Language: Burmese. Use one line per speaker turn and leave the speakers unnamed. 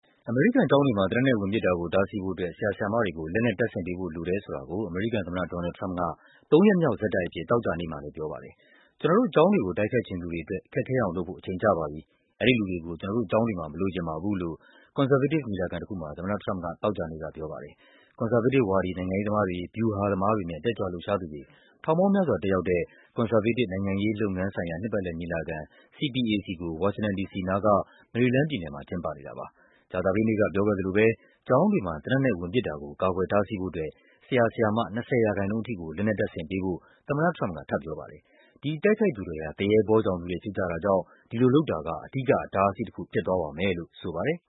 အမေရိကန်ကျောင်းတွေမှာ သေနတ်နဲ့ဝင်ပစ်တာကို တားဆီးဖို့အတွက် ဆရာဆရာမတွေကို လက်နက်တပ်ဆင်ပေးဖို့လိုတယ် ဆိုတာကို အမေရိကန်သမ္မတ ဒေါ်နယ်လ်ဒ် ထရမ့်ပ်က သုံးရက်မြောက်ဆက်တိုက်အဖြစ် သောကြာနေ့မှာလည်းပြောပါတယ်။ ကျနော်တို့ကျောင်းတွေကို တိုက်ခိုက်ချင်သူတွေအတွက် ခက်ခဲအောင်လုပ်ဖို့ အချိန်ကျပါပြီ၊ အဲဒီလူတွေကို ကျနော်တို့ကျောင်း တွေမှာ မလိုချင်ပါဘူးလို့ ကွန်ဆာဗေးတစ်ညီလာခံတခုမှာ သမ္မတထရမ့်ပ်က သောကြာနေ့မှာပြောပါတယ်။ ကွန်ဆာဗေးတစ်ဝါဒီ နိုင်ငံရေးသမားတွေ၊ ဗျူဟာသမားတွေနဲ့ တက်ကြွလှုပ်ရှားသူတွေ ထောင်ပေါင်းများစွာတက်ရောက်တဲ့ ကွန်ဆာဗေးတစ် နိုင်ငံရေး လုပ်ငန်းဆိုင်ရာ နှစ်ပတ်လည်ညီလာခံ CPAC ကို ဝါရှင်တန်ဒီစီနားက မေရီလန်းပြည်နယ်မှာ ကျင်းပနေတာပါ။ ကြာသပတေးနေ့က ပြောခဲ့သလိုပဲ ကျောင်းတွေမှာ သေနတ်နဲ့ဝင်ပစ်တာကို ကာကွယ်တားဆီးဖို့အတွက် ဆရာဆရာမ ၂၀% အထိကို လက်နက်တပ်ဆင်ပေးဖို့ သမ္မတထရမ့်ပ်က ထပ်ပြောပါတယ်။ ဒီတိုက်ခိုက်သူတွေဟာ သူရဲဘောကြောင်သူတွေဖြစ်ကြတာကြောင့် ဒီလိုလုပ်တာက အဓိက အတားအဆီးတခု ဖြစ်သွားပါမယ်လို့ ဆိုပါတယ်